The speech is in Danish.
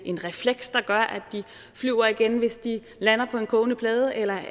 en refleks der gør at de flyver igen hvis de lander på en kogeplade eller